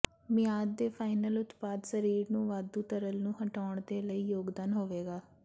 ਮਿਆਦ ਦੇ ਫਾਈਨਲ ਉਤਪਾਦ ਸਰੀਰ ਨੂੰ ਵਾਧੂ ਤਰਲ ਨੂੰ ਹਟਾਉਣ ਦੇ ਲਈ ਯੋਗਦਾਨ ਹੋਵੇਗਾ